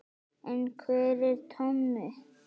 En hver er Tommi?